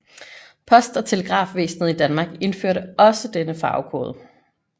Post og Telegrafvæsenet i Danmark indførte også denne farvekode